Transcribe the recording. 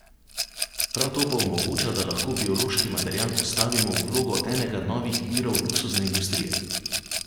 Prav to pa omogoča, da lahko biološki material postavimo v vlogo enega novih virov luksuzne industrije.